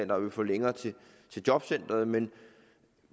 der vil få længere til jobcenteret men